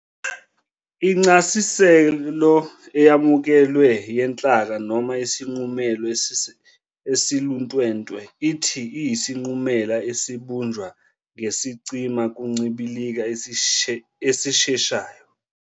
Incasiselo eyamuekelwe "yenhlaka", noma isinqumela esiluntwentwe, ithi, iyisinqumela esibunjwa ngesicima kuncibilika esisheshayo.